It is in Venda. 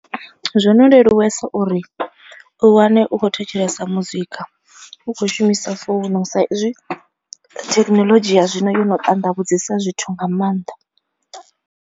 Zwo no leluwesa uri u wane u khou thetshelesa muzika, u kho shumisa founu sa izwi thekinoḽodzhi ya zwino yono ṱanḓavhudzesa zwithu nga maanḓa.